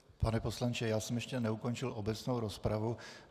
Pane poslanče, já jsem ještě neukončil obecnou rozpravu.